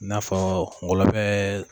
i n'afɔ ngɔlɔbɛ